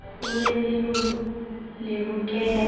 ho be le lehokela le